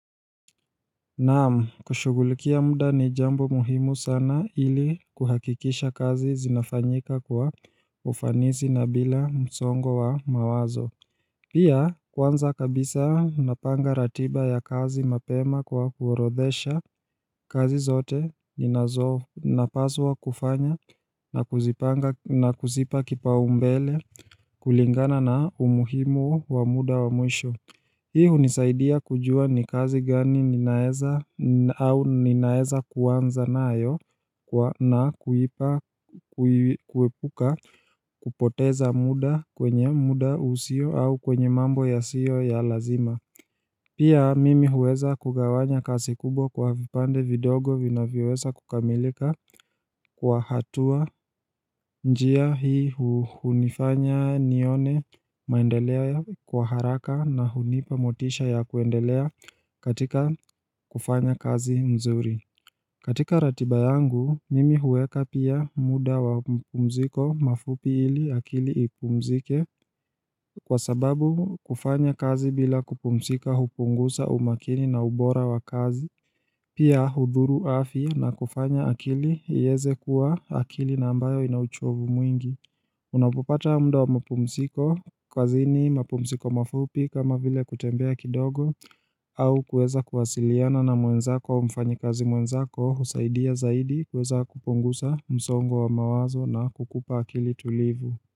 Naam, kushugulikia muda ni jambo muhimu sana ili kuhakikisha kazi zinafanyika kwa ufanisi na bila msongo wa mawazo. Pia, kwanza kabisa napanga ratiba ya kazi mapema kwa kuorodhesha kazi zote ninazo napaswa kufanya na kuzipa kipa umbele kulingana na umuhimu wa muda wa mwisho. Hii hunisaidia kujua ni kazi gani ninaeza au ninaeza kuanza nayo na kuipa kuepuka kupoteza muda kwenye muda usio au kwenye mambo yasiyo ya lazima Pia mimi huweza kugawanya kasi kubwa kwa vipande vidogo vina vyoweza kukamilika kwa hatua njia hii hunifanya nione maendeleo kwa haraka na hunipa motisha ya kuendelea katika kufanya kazi mzuri. Katika ratiba yangu, mimi huweka pia muda wa mpumziko mafupi ili akili ipumzike kwa sababu kufanya kazi bila kupumzika hupungusa umakini na ubora wa kazi, pia hudhuru afya na kufanya akili iweze kuwa akili na ambayo inauchovu mwingi. Unapopata muda wa mapumziko kazini mapumziko mafupi kama vile kutembea kidogo au kuueza kuwasiliana na mwenzako mfanyi kazi mwenzako husaidia zaidi kueza kuponguza msongo wa mawazo na kukupa akili tulivu.